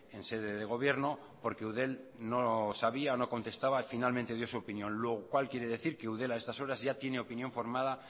en sede de gobierno porque eudel no sabía o no contestaba finalmente dio su opinión lo cual quiere decir que eudel a estas horas ya tiene opinión formada